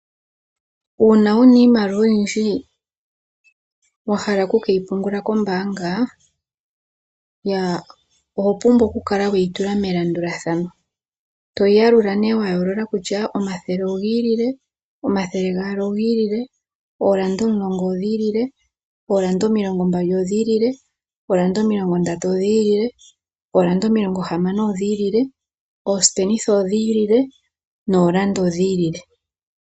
Uuna wuna iimaliwa oyindji wa hala oku keyi pungula mombaanga ya, oho pumbwa oku kala weyi tula melandulathano. Toyi yalula nee wa yoolola kutya omathele ogiilile, omathele gaali ogiilile, oolanda omulongo odhiilile, oolanda omilongo mbali odhiilile, oolanda omilongo ndatu odhiilile, oolanda omilongo hamano odhiilile, oosipenitha odhiilile noolanda odhiilile.